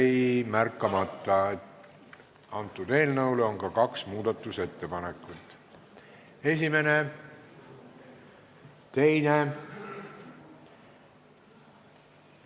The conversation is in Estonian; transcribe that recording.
Mul jäi märkamata, et eelnõu kohta on ka kaks muudatusettepanekut: esimene, teine.